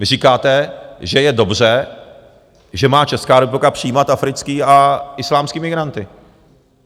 Vy říkáte, že je dobře, že má Česká republika přijímat africké a islámské migranty.